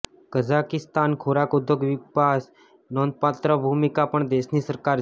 Kazakhstan ખોરાક ઉદ્યોગ વિકાસ નોંધપાત્ર ભૂમિકા પણ દેશની સરકાર છે